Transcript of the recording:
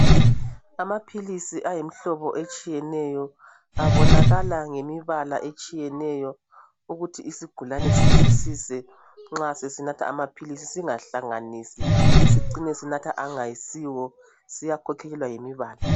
Amapills ayimihlobo etshiyeneyo abonakala ngemihlobo etshiyeneyo ukuthi isigulani sizwisise nxa sesinatha amapills singahlanganisi sicine sinatha angasiwo siyakhokhelelwa ngemibala